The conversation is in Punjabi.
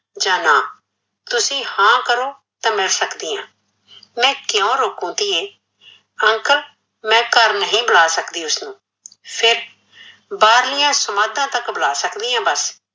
ਜਾ ਨਾਂ ਤੂ ਹਾਂ ਕਰੋ ਤਾਂ ਮਿਲ ਸਕਦੀ ਆ, ਮੈ ਕੀਓ ਰੋਕੂ ਧੀਏ, uncle ਮੈ ਘਰ ਨਹੀਂ ਬੁਲਾ ਸਕਦੀ ਉਸਨੂੰ ਫੀਰ ਬਾਹਰਲਿਆ ਸਮਾਧਾਂ ਤੱਕ ਬੁਲਾ ਸਕਦੀ ਆ ਬੱਸ